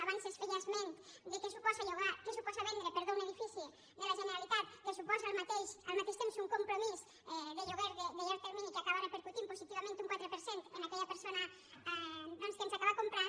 abans es feia esment de què suposa vendre un edifici de la generalitat que suposa al mateix temps un compromís de lloguer de llarg termini que acaba repercutint positivament un quatre per cent en aquella persona que ens ho acaba comprant